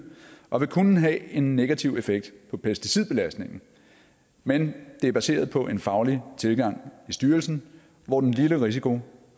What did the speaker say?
og vil kun have en negativ effekt på pesticidbelastningen men det er baseret på en faglig tilgang i styrelsen hvor den lille risiko